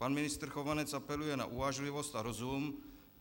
Pan ministr Chovanec apeluje na uvážlivost a rozum.